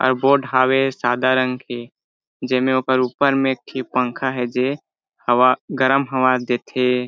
अउ बोर्ड हावे सदा रंग के जेमे ओकर ऊपर में एक ठी पंखा हे जे हवा गरम हवा देथे।